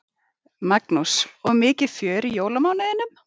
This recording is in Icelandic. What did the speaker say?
Magnús: Og mikið fjör í jólamánuðinum?